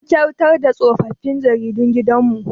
Mun kyautar da tsofaffin jaridun gidan mu